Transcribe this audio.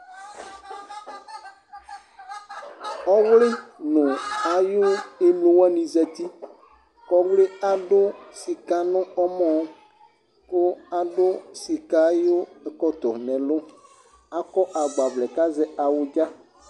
ɔwli no ayi emlo wani zati kò ɔwli adu sika no ɔmɔ kò adu sika ayi ɛkɔtɔ n'ɛlu akɔ agbavlɛ k'azɛ awudza